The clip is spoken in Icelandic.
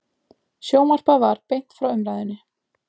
Sjónvarpað var beint frá umræðunni.